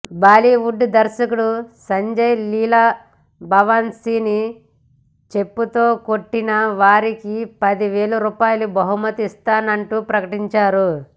బాలీవుడ్ దర్శకుడు సంజయ్ లీలా భన్సాలీని చెప్పుతో కొట్టిన వారికి పది వేల రూపాయల బహుమతి ఇస్తానంటూ ప్రకటించారు